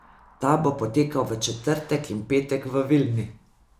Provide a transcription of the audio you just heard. Ta bo potekal v četrtek in petek v Vilni.